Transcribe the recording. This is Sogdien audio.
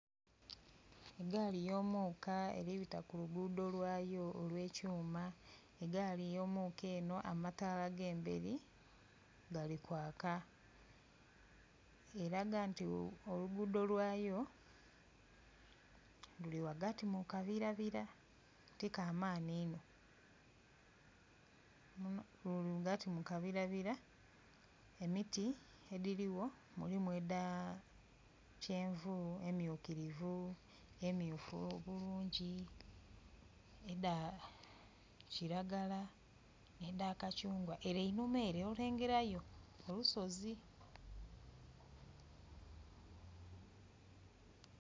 Gaali yo muka eri bita ku lugudho lwayo olwe kyuma, egaali yo muka eno amataala gayo agemberi gali kwaaka. Eraga nti olugudho lwayo luli ghagati mu kabira bira tikamaani inno. Ghagati mukabira emiti edhiri gho mulimu eda kyenvu, emyukirivi, emyufu obulungi, edha kilagala ne dha kachungwa ere eunhuma ere olengelayo olusozi.